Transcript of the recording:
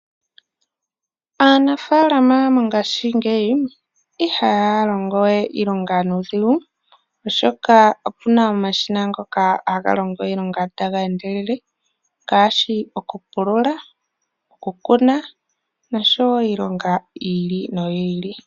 Aanafaalama mongashingeyi ihaya longo we iilonga nuudhigu, oshoka opu na omashina ngoka haga longo iilonga taga endelele ngaashi okupulula, okukuna nosho wo iilonga yi ili noyi ili.